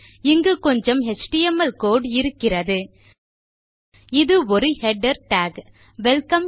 இங்கு கொஞ்சம் HTML code இருக்கிறது இது ஒரு ஹெடர் டாக் வெல்கம்